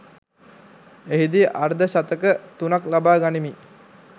එහිදී අර්ධ ශතක තුනක් ලබා ගනිමින්